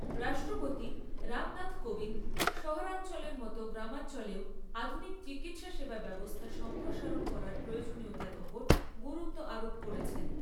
রাষ্ট্রপতি রামনাথ কোবিন্দ শহরাঞ্চলের মতো গ্রামাঞ্চলেও আধুনিক চিকিৎসা সেবা ব্যবস্থা সম্প্রসারণ করার প্রয়োজনীয়তার ওপর গুরুত্ব আরোপ করেছেন।